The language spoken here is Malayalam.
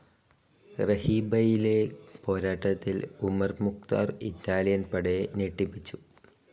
റഹീബയിലെ പോരാട്ടത്തിൽ ഉമർ മുഖ്താർ ഇറ്റാലിയൻ പടയെ ഞെട്ടിപ്പിച്ചു.